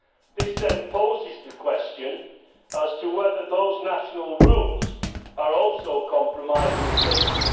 This then poses the question as to whether those national rules are also compromising safety.